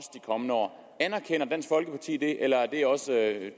kommende år anerkender dansk folkeparti det eller er det også